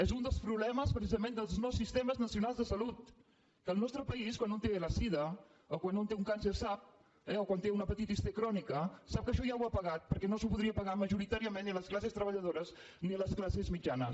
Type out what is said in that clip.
és un dels problemes precisament dels nous sistemes nacionals de salut que el nostre país quan un té la sida o quan un té un càncer o quan té una hepatitis c crònica sap que això ja ho ha pagat perquè no s’ho podrien pagar majoritàriament ni les classes treballadores ni les classes mitjanes